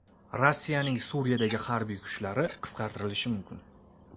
Rossiyaning Suriyadagi harbiy kuchlari qisqartirilishi mumkin.